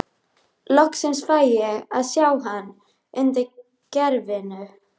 Loksins fæ ég að sjá hann undir gervinu.